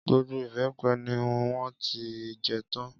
Gbogbo ìbẹ́pẹ ni wọ́n ti jẹ tán.